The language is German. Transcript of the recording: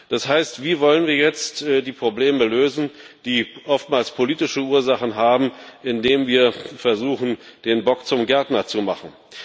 Das heißt Wie wollen wir jetzt die Probleme lösen, die oftmals politische Ursachen haben, indem wir versuchen, den Bock zum Gärtner zu machen?